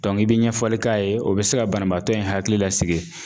i bɛ ɲɛfɔli k'a ye o bɛ se ka banabaatɔ in hakili lasigi.